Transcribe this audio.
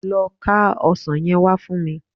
Lọ ká ọsàn yẹn wá fún mi